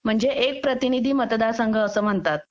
म्हणजे एक प्रतिनिधी मतदारसंघ असे म्हणतात